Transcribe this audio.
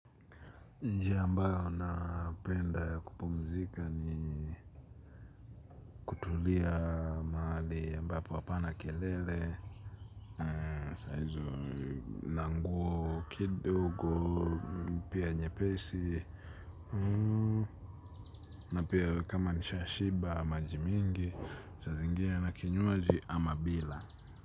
Njia ambayo na penda ya kupumzika ni kutulia maali ambapo apana kelele, sahizo, na nguo kidogo. Pia nyepesi na pia kama nishashiba maji mingi saa zingine na kinywaji ama bila.